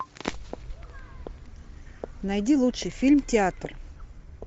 найди лучший фильм театр